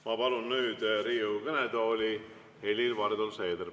Ma palun nüüd Riigikogu kõnetooli Helir-Valdor Seederi.